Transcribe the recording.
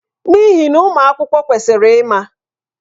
N'ihi na ụmụ akwụkwọ kwesịrị ịma.